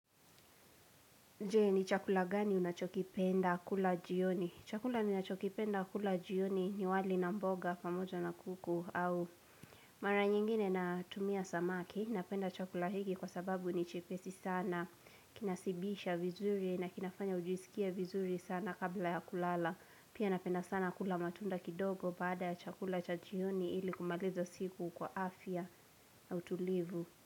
Je ni chakula gani unachokipenda kula jioni? Chakula unachokipenda kula jioni ni wali na mboga, pamoja na kuku au Mara nyingine natumia samaki, napenda chakula hiki kwa sababu ni chepesi sana Kinasibisha vizuri na kinafanya ujisikievvizuri sana kabla ya kulala Pia napenda sana kula matunda kidogo baada ya chakula cha jioni ili kumaliza siku kwa afya na utulivu.